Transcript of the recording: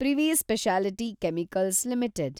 privy speciality chemicals limited